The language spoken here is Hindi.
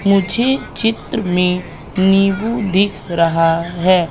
मुझे चित्र में नींबू दिख रहा है।